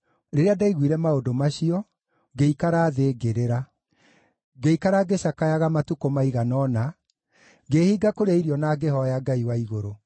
Rĩrĩa ndaiguire maũndũ macio, ngĩikara thĩ, ngĩrĩra. Ngĩikara ngĩcakayaga matukũ maigana ũna, ngĩĩhinga kũrĩa irio na ngĩhooya Ngai wa igũrũ.